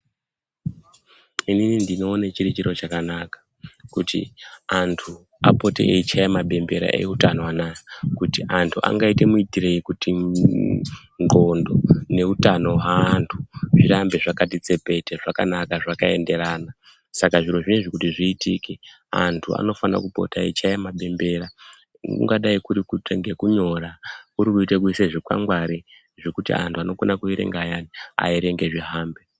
Inini ndinoone chiri chiro chakanaka kuti antu apote eichaya mapembera eutano anaya kuti antu angaite muitirei kuti ndxondo ngeutano hweantu zvirambe zvakati tsepete kunaka zvakaenderana saka zvirozvo izvi kuti zviitike antu anofana kupota eichaya mabembera kungadai kuita ngekunyora , kurikuite kuisei zvikwangwari zvekuti antu anokona kuerenga ayani aerenge zvihambe.